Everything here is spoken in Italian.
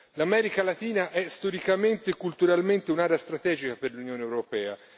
L'America Latina è storicamente e culturalmente un'area strategica per l'Unione europea.